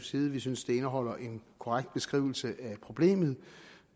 side vi synes det indeholder en korrekt beskrivelse af problemet